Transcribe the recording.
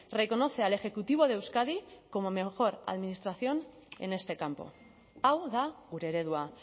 reconoce al ejecutivo de euskadi como mejor administración en este campo hau da gure eredua